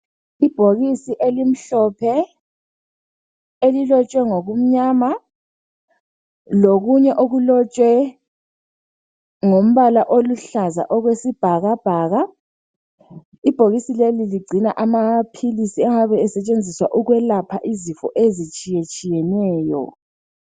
Ibhokisi elimhlophe ,elilotshwe ngokumnyama, lokunye okulotshwe ngombala oluhlaza okwesibhakabhaka. Ibhokisi leli ligcina amaphilisi ayabe esetshenziswa ukwelapha izifo ezitshiye tshiyeneyo.